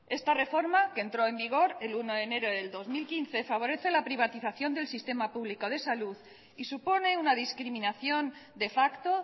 esta reforma que entró en vigor el uno de enero del dos mil quince favorece la privatización del sistema público de salud y supone una discriminación de facto